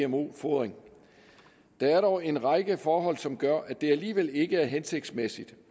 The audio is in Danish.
gmo fodring der er dog en række forhold som gør at det alligevel ikke er hensigtsmæssigt